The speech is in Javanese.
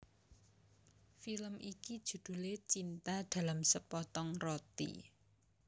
Film iki judhulé Cinta dalam Sepotong Roti